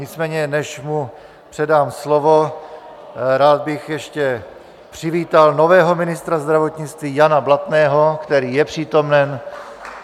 Nicméně než mu předám slovo, rád bych ještě přivítal nového ministra zdravotnictví Jana Blatného, který je přítomen.